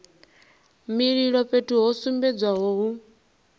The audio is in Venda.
mililo fhethu ho sumbedzwaho hu